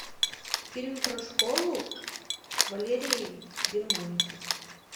фильм про школу валерии германики